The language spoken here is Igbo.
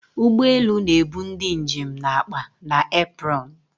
Ụgbọ elu na-ebu ndị njem na akpa na apron